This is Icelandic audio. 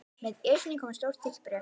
Með Esjunni kom stórt og þykkt bréf.